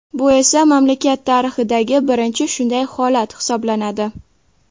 Bu esa mamlakat tarixidagi birinchi shunday holat hisoblanadi.